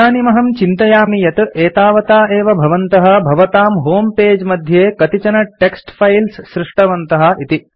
इदानीम् अहं चिन्तयामि यत् एतावता एव भवन्तः भवतां होमे पगे मध्ये कतिचन टेक्स्ट् फाइल्स् सृष्टवन्तः इति